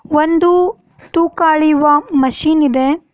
ಒಂದು ತೂಕ ಅಳಿಯುವ ಮಷೀನ್ ಇದೆ.